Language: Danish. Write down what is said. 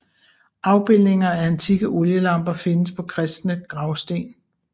Afbildninger af antikke olielamper findes på kristne gravsten